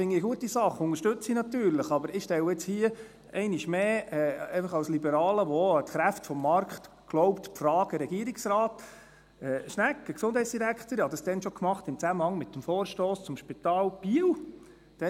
das finde ich eine gute Sache, die ich natürlich unterstütze, aber ich stelle jetzt hier einmal mehr – einfach als Liberaler, der auch an die Kräfte des Markts glaubt –, die Frage an Regierungsrat Schnegg, an den Gesundheitsdirektor … Ich tat dies schon damals im Zusammenhang mit dem Vorstoss zum Spital Biel .